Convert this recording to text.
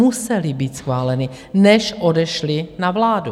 Musely být schváleny, než odešly na vládu.